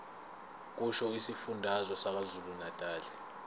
kusho isifundazwe sakwazulunatali